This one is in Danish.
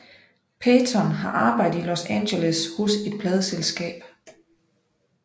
Peyton har arbejdet i Los Angeles hos et pladeselskab